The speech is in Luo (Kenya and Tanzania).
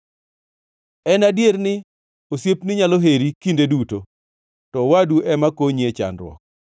En adier ni osiepni nyalo heri kinde duto, to owadu ema konyi e chandruok.